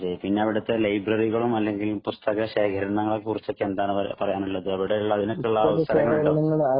പിന്നെ അവിടുത്തെ ലൈബ്രറികളും അല്ലെങ്കിൽ പുസ്തക ശേഖരങ്ങളും അതിനെ കുറിച്ച് എന്താണ് പറയാനുള്ളത്